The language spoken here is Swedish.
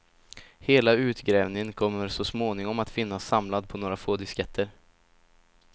Hela utgrävningen kommer så småningom att finnas samlad på några få disketter.